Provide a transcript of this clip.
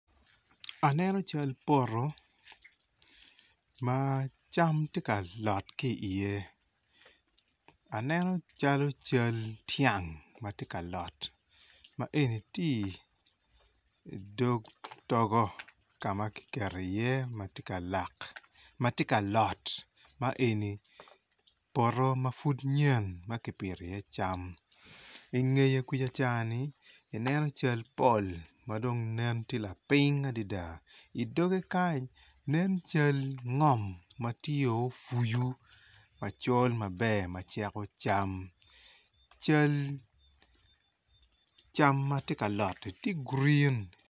Aneno cal poto macam tye ka lot ki iye aneno calo cal tyang matye ka lot ma eni tye i dog togo kama kiketo i ye matye ka lot ma eni poto mapud nyen maki pito i ye cam ingeto kuca cani i neno cal pol madong nen tye laping adada idoge kan nen cal ngom ma tye ofuyu macol maber maceko cam cal cam matye ka lot tye gurin.